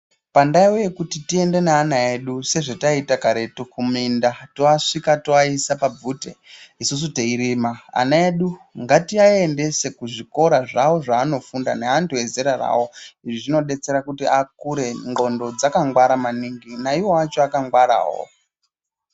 Pandau yekuti tiende neana edu sezvataita karetu kuminda toasvika toaisa pabvute isusu teirima. Anaedu ngatiaendese kuzvikora zvawo zvaanofunda neantu ezera rawo. Izvi zvinodetsera kuti akure ndxondo dzakangwara maningi naiwo acho akangwarawo.